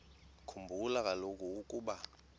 khumbula kaloku ukuba